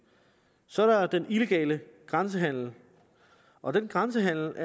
så er der den illegale grænsehandel og den grænsehandel